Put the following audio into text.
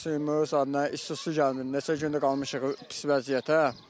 Bizim isti suyumuz gəlmir, neçə gündür qalmışıq pis vəziyyətə.